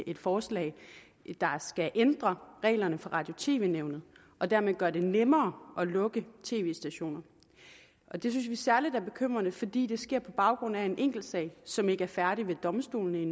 et forslag der skal ændre reglerne for radio og tv nævnet og dermed gøre det nemmere at lukke tv stationer det synes særlig bekymrende fordi det sker på baggrund af en enkeltsag som ikke er færdigbehandlet